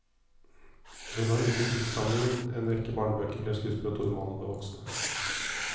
Hun har utgitt diktsamlinger, en rekke barnebøker, flere skuespill og to romaner for voksne.